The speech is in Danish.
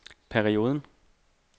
perioden